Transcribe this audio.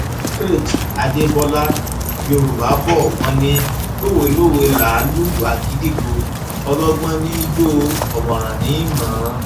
faith adébọlá yorùbá bò wọn ní lówelowe láá lùlù agídígbò ọlọgbọn ní í jó o ọmọràn ní í mọ ọn